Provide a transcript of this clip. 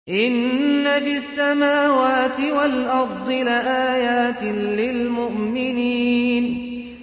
إِنَّ فِي السَّمَاوَاتِ وَالْأَرْضِ لَآيَاتٍ لِّلْمُؤْمِنِينَ